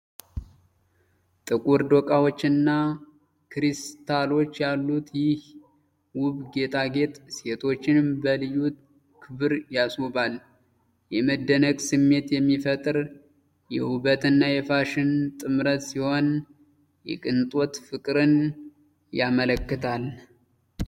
ጥቁር ዶቃዎችና ክሪስታሎች ያሉት ይህ ውብ ጌጣጌጥ ሴቶችን በልዩ ክብር ያስውባል። የመደነቅ ስሜት የሚፈጥር የውበትና የፋሽን ጥምረት ሲሆን፣ የቅንጦት ፍቅርን ያመለክታልጥ